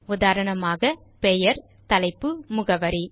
உதாரணமாக பெயர் தலைப்பு முகவரி